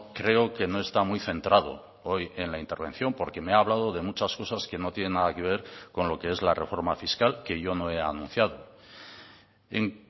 creo que no está muy centrado hoy en la intervención porque me ha hablado de muchas cosas que no tienen nada que ver con lo que es la reforma fiscal que yo no he anunciado en